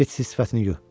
Get sifətini yu.